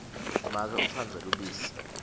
make utsandza lubisi